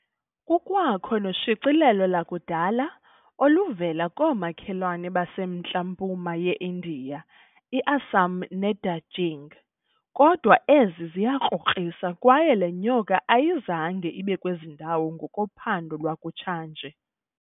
Kukwakho noshicilelo lakudala oluvela koomakhelwane basemntla-mpuma ye-India, i-Assam ne- Darjeeling, kodwa ezi ziyakrokrisa kwaye le nyoka ayizange ibe kwezi ndawo ngokophando lwakutsha nje.